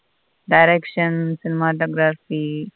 Direction .